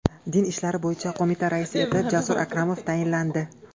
Din ishlari bo‘yicha qo‘mita raisi etib Jasur Akromov tayinlandi.